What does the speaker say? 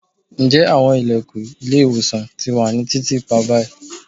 njẹ awọn ilẹkun ile-iwosan ti wà ni titiipa bayi